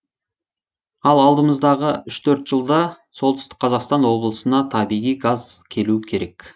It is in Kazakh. ал алдымыздағы үш төрт жылда солтүстік қазақстан облысына табиғи газ келу керек